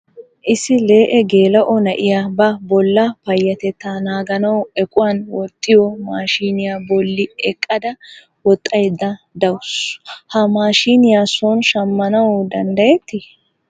Issi lee'e geela'o na'iya ba bolla payyatettaa naaganawu equwan woxxiyo maashiniya bolli eqqada woxxayidda dawusu. Ha maashiniya son shammanawu dandayettii?